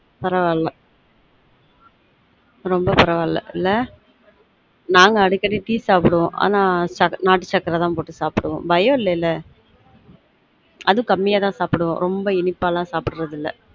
பரவாயில்ல ரொம்ப பரவாயில்ல இல்ல நாங்க அடிக்கடி tea சாப்டுவொம் ஆனா நாட்டு சக்கர தான் போட்டு சாப்டுவொம் பயம் இல்லல அதுவும் கம்மியா தான் சாப்டுவொம் ரொம்ப இனிப்பாலான் சாப்டுரது இல்ல